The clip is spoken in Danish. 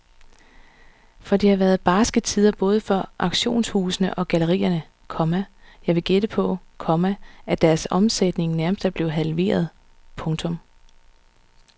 For det har været barske tider både for auktionshusene og gallerierne, komma jeg vil gætte på, komma at deres omsætning nærmest er blevet halveret. punktum